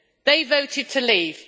They voted to leave.